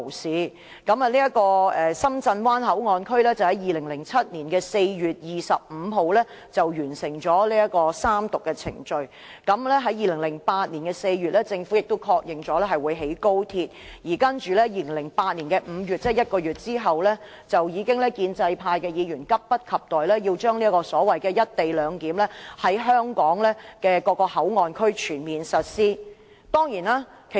《深圳灣口岸港方口岸區條例草案》在2007年4月25日完成三讀，政府在2008年4月確認會興建高鐵，接着於2008年5月，即1個月後，建制派議員已急不及待要把這個所謂"一地兩檢"安排在香港各個口岸區全面實施。